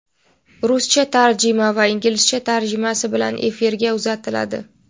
ruscha tarjima va inglizcha tarjimasi bilan efirga uzatiladi.